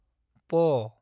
प